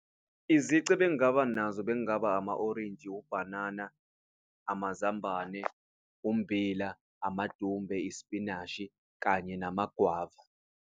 Izici ebengaba nazo bek'ngaba ama orintshi, ubhanana, amazambane, ummbila, amadumbe, isipinashi kanye nama gwava.